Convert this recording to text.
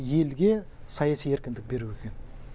елге саяси еркіндік беру екен